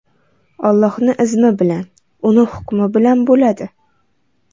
Allohni izmi bilan, uni hukmi bilan bo‘ladi.